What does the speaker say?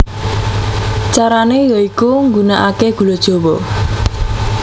Carane ya iku nggunakake gula jawa